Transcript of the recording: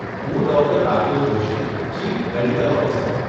હું doctor Rakesh Joshi, chief medical officer.